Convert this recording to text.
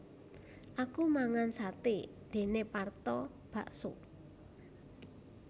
Aku mangan sate dene Parto bakso